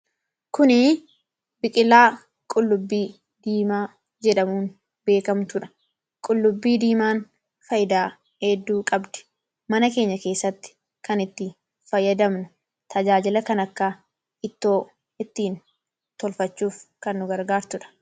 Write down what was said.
Kuni biqilaa qullubbii diimaa jedhamuun beekamtudha. Qullubbiin diimaan faayidaa hedduu qabdi. Mana keenya keessatti tajaajila adda addaa, kan akka ittoo ittiin tolfachuuf kan nu gargaartudha.